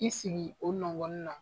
I sigi o nɔgɔni na